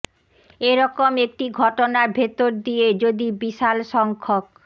এ রকম একটি ঘটনার ভেতর দিয়ে যদি বিশাল সংখ্যক